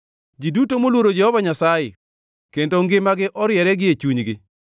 Ji duto moluoro Jehova Nyasaye, kendo ngimagi oriere gie chunygi.